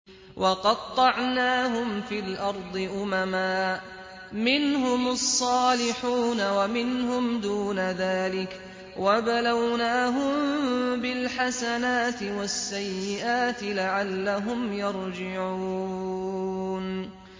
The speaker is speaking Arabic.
وَقَطَّعْنَاهُمْ فِي الْأَرْضِ أُمَمًا ۖ مِّنْهُمُ الصَّالِحُونَ وَمِنْهُمْ دُونَ ذَٰلِكَ ۖ وَبَلَوْنَاهُم بِالْحَسَنَاتِ وَالسَّيِّئَاتِ لَعَلَّهُمْ يَرْجِعُونَ